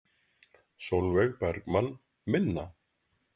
Sólveig Bergmann: Minna?